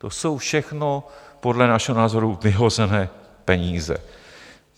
To jsou všechno podle našeho názoru vyhozené peníze.